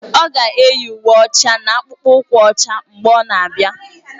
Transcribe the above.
Ọ ga-eyi uwe ọcha na akpụkpọ ụkwụ ọcha mgbe ọ na-abịa